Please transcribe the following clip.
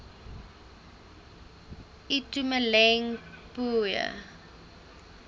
itumeleng pooe